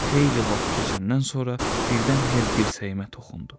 Xeyli vaxt keçəndən sonra birdən Hel dirsəyimə toxundu.